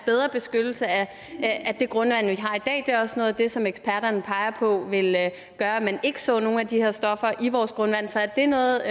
bedre beskyttelse af det grundvand vi har i også noget af det som eksperterne peger på vil gøre at man ikke så nogen af de her stoffer i vores grundvand så er det noget